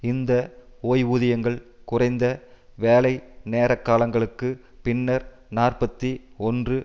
இந்த ஓய்வூதியங்கள் குறைந்த வேலைநேரகாலங்களுக்கு பின்னர் நாற்பத்தி ஒன்று